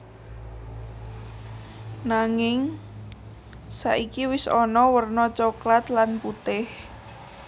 Nanging saiki wis ana wèrna coklat lan putih